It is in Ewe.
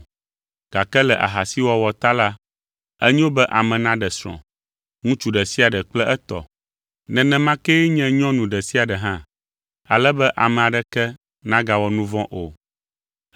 gake le ahasiwɔwɔ ta la, enyo be ame naɖe srɔ̃, ŋutsu ɖe sia ɖe kple etɔ; nenema kee nye nyɔnu ɖe sia ɖe hã, ale be ame aɖeke nagawɔ nu vɔ̃ o.